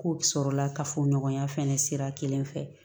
Ko sɔrɔla kafo ɲɔgɔnya fana sira kelen fɛ